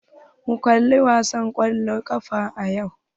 Mun kali wasan kwallon ƙafa a yutub.